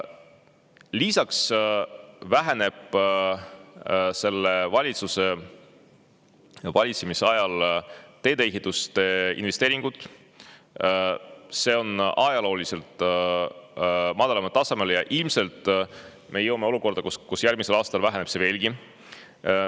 Lisaks vähenevad selle valitsuse valitsemise ajal teedeehituse investeeringud ajalooliselt madalaimale tasemele ja ilmselt me jõuame olukorda, kus järgmisel aastal väheneb see summa veelgi.